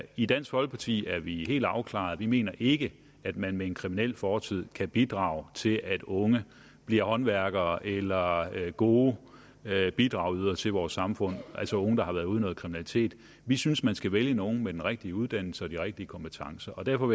i dansk folkeparti er vi helt afklarede vi mener ikke at man med en kriminel fortid kan bidrage til at unge bliver håndværkere eller gode bidragydere til vores samfund altså unge der har været ude i kriminalitet vi synes man skal vælge nogle med den rigtige uddannelse og de rigtige kompetencer og derfor